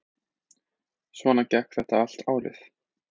Svona gekk þetta allt árið.